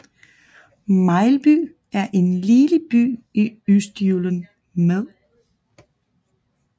Mejlby er en lille by i Østjylland med